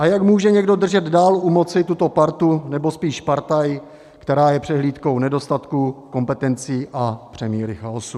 A jak může někdo držet dál u moci tuto partu, nebo spíš partaj, která je přehlídkou nedostatku kompetencí a přemíry chaosu?